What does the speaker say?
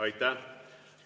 Aitäh!